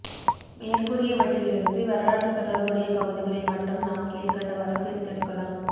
மேற்கூறியவற்றிலிருந்து வரலாற்றுத் தொடர்புடைய பகுதிகளை மட்டும் நாம் கீழ் கண்டவாறு பிரித்தெடுக்கலாம்